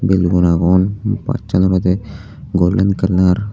belun agon bajsan olodey golden kalar .